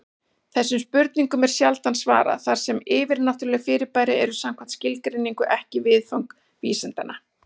Þessum spurningum er sjaldan svarað, þar sem yfirnáttúruleg fyrirbæri eru samkvæmt skilgreiningu ekki viðfang vísindanna.